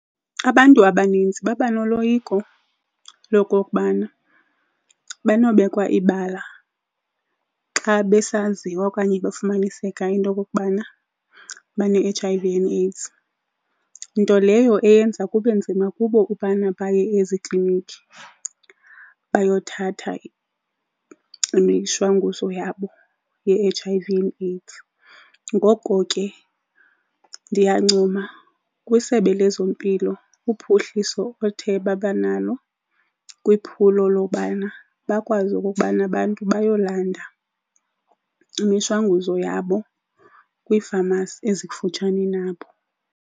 Abantu abaninzi baba noloyiko lokokubana banobekwa ibala xa besaziwa okanye bafumaniseka into okokubana bane-H_I_V and AIDS. Nto leyo eyenza kube nzima kubo ubana baye eziklinikhi bayothatha imishwanguzo yabo ye-H_I_V and AIDS. Ngoko ke ndiyancoma kwiSebe lezeMpilo kuphuhliso ethe babanalo kwiphulo lobana bakwazi okokubana abantu bayolanda imishwanguzo yabo kwiifamasi ezikufutshane nabo.